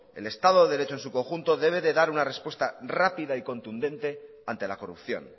el estado de derecho en su conjunto debe de dar una respuesta rápida y contundente ante la corrupción